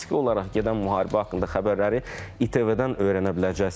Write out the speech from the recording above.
Bu faktiki olaraq gedən müharibə haqqında xəbərləri ATV-dən öyrənə biləcəksiniz.